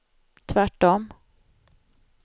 tvärtom